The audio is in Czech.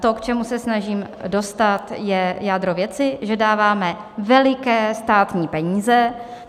To, k čemu se snažím dostat, je jádro věci, že dáváme veliké státní peníze.